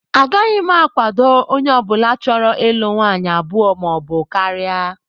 Agaghị m akwado onye ọbụla chọrọ ịlụ nwaanyị abụọ maọbụ karịa